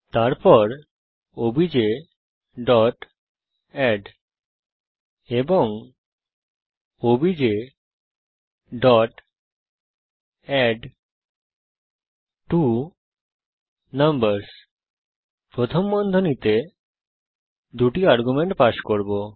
তারপর objএড এবং objঅ্যাডট্বোনাম্বারসহ প্রথম বন্ধনীতে আমরা দুটি আর্গুমেন্ট পাস করব